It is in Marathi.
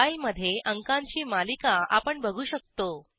फाईलमधे अंकांची मालिका आपण बघू शकतो